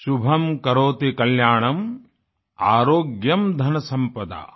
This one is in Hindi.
शुभम् करोति कल्याणं आरोग्यं धनसम्पदाम